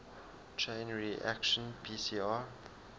chain reaction pcr